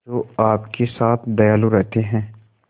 जो आपके साथ दयालु रहते हैं